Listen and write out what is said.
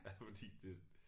Ja fordi det